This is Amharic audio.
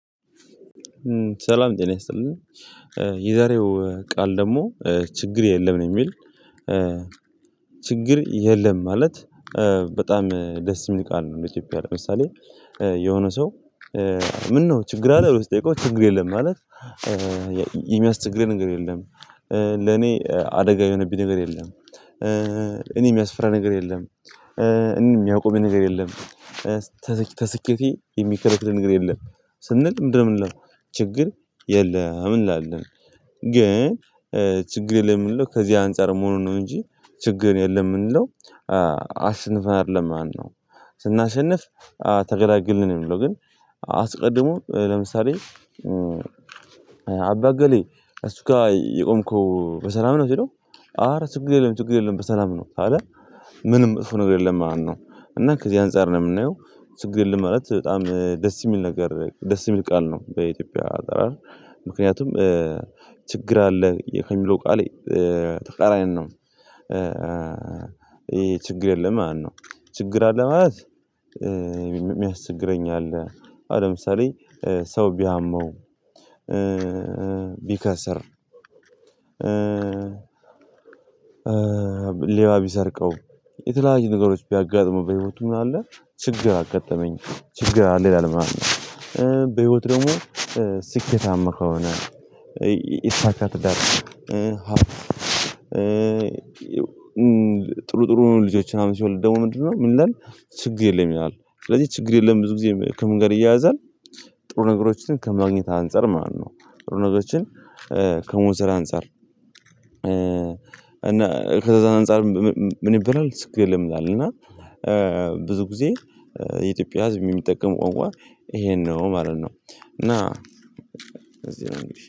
ሰላም ጤና ይሰጥልኝ። የዛሬው ቃል ደግሞ ችግር የለም ነው የሚል ችግር የለም። ማለት በጣም ደስ የሚል ቃል ነው። ለኢትዮጵያ ለምሳሌ የሆነ ሰው። ምነው ችግር አለ ብሎ ሲጠይቀው ችግር የለም ማለት። የሚያስቸግረኝ ነገር የለም። ለኔ አደጋ የሆነብኝ ነገር የለም። እኔ የሚያስፍራ ነገር የለም። የሚያውቁብኝ ነገር የለም። ከስኬቴ የሚከለክል ነገር የለም። ስንል ምንድነው የምንለው? ችግር የለም እንላለን። ግን ችግር የለም የምንለው ከዚህ አንፃር መሆኑን ነው እንጂ ችግር የለም የምንለው። አስንፈን አይደለም ማነው ስናሸንፍ ተገላግልን ነው የምንለው። ግን አስቀድሞ ለምሳሌ አባ አገሌ እሱ ጋር የቆምከው በሰላም ነው ሲለው። አረ ችግር የለም ችግር የለም በሰላም ነው ካለ ምንም መጥፎ ነገር የለም ማለት ነው። እና ከዚህ አንፃር ነው የምናየው ችግር የለም ማለት በጣም ደስ የሚል ነገር ደስ የሚል ቃል ነው በኢትዮጵያ አጠራር። ምክንያቱም ችግር አለ ከሚለው ቃል ተቃራኒ ነው። ይሄ ችግር የለም ማለት ነው። ችግር አለ ማለት የሚያስችግረኝ አለ። አሁን ለምሳሌ ሰው ቢያመው ቢከስር። ሌባ ቢሰርቀው የተለያየ ነገሮች ቢያጋጥሙ በህይወቱ ምን አለ ችግር አጋጠመኝ ችግር አለ ይላል ምናምን። በህይወት ደግሞ ከሆነ የተሳካ ትዳር ሃብት። ጥሩ ጥሩ ልጆችን ምናምን ሲወልድ ደግሞ ምንድነው ምን ይላል? ችግር የለም ይላል ስለዚህ ችግር የለም ብዙ ጊዜ ከምን ጋር ይያያዛል። ጥሩ ነገሮችን ከማግኘት አንፃር ማለት ነው። ጥሩ ነገሮችን ከመውሰድ አንፃር እና ከዛ አንፃር ምን ይባላል ችግር የለም ይላል። እና ብዙም ጊዜ የኢትዮጵያ ህዝብ የሚጠቀመው ቋንቋ ይሄን ነው ማለት ነው። እና